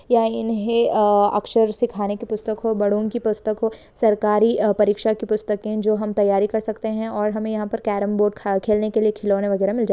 यहा इन्हे अक्सर सिखाने की पुस्तक हो बड़ो की पुस्तक हो सरकारी परीक्षा की पुस्तके जो हम तैयारी कर सकते है और हमें यहां पे हमे केरेम बोर्ड खेलने के लिए खिलोना वगैरा मिल जा--